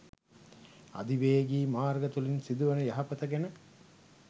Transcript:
අධිවේගී මාර්ග තුළින් සිදුවන යහපත ගැන